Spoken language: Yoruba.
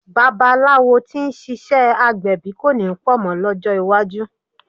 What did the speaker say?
Babaláwo tí ń ṣiṣẹ́ agbẹ̀bí kọ̀ ní pọ̀ mọ́ lọ́jọ́ iwájú.